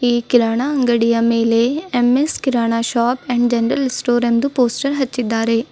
ಈ ಕಿರಾಣ ಅಂಗಡಿಯ ಮೇಲೆ M S Kirana shop and general store ಎಂದು ಪೋಸ್ಟರ್ ಹಚ್ಚಿದ್ದಾರೆ.